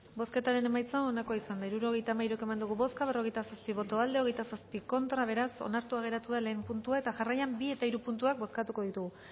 bozketaren emaitza onako izan da hirurogeita hamalau eman dugu bozka berrogeita zazpi boto aldekoa veintisiete contra beraz onartu geratua lehen puntua eta jarraian bi eta hiru puntua bozkatuko ditugu